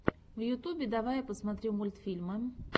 в ютубе давай я посмотрю мультфильмы